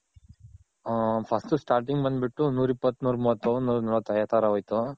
ಹ್ಮ್ First Starting ಬಂದ್ ಬಿಟ್ಟು ನೂರಿಪ್ಪತ್, ನೂರ್ಮುವತ್, ನೂರ್ನಲ್ವತ್, ಆ ತರ ಆಗೋಯ್ತು.